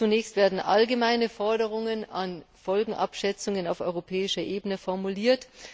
Zunächst werden allgemeine Anforderungen an Folgenabschätzungen auf europäischer Ebene formuliert.